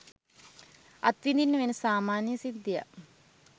අත්විඳින්න වෙන සාමාන්‍ය සිද්ධියක්.